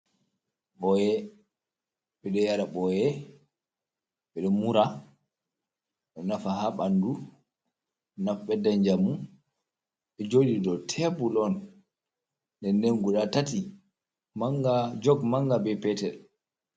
Ɓoye! Ɓe ɗo yara ɓoye, ɓe ɗo mura. Ɗo nafa haa ɓandu, ɓeddan njamu. Ɗo joɗi dow tebur on, nden-nden guda tati, jog manga be petel.